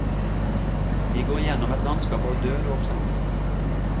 De går gjennom et landskap av død og oppstandelse.